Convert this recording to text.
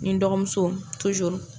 N ni n dɔgɔmuso